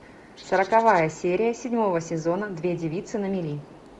сороковая серия седьмого сезона две девицы на мели